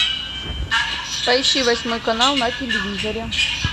поищи восьмой канал на телевизоре